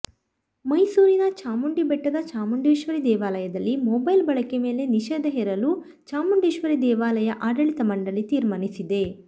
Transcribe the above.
ಮೈಸೂರಿನ ಚಾಮುಂಡಿ ಬೆಟ್ಟದ ಚಾಮುಂಡೇಶ್ವರಿ ದೇವಾಲಯದಲ್ಲಿ ಮೊಬೈಲ್ ಬಳಕೆ ಮೇಲೆ ನಿಷೇಧ ಹೇರಲು ಚಾಮುಂಡೇಶ್ವರಿ ದೇವಾಲಯ ಆಡಳಿತ ಮಂಡಳಿ ತೀರ್ಮಾನಿಸಿದೆ